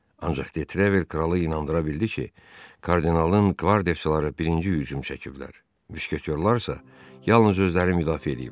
Ancaq De Trevil kralı inandıra bildi ki, kardinalın qvardiyaçıları birinci hücum çəkiblər, müşketorlar isə yalnız özlərini müdafiə ediblər.